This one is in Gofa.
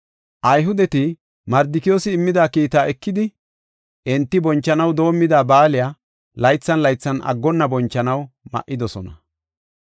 Ayhudeti Mardikiyoosi immida kiitaa ekidi, enti bonchanaw doomida baaliya, laythan laythan aggonna bonchanaw ma7idosona.